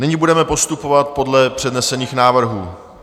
Nyní budeme postupovat podle přednesených návrhů.